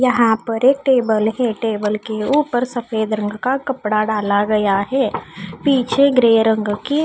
यहां पर एक टेबल है टेबल के ऊपर सफेद रंग का कपड़ा डाला गया है पीछे ग्रे रंग की--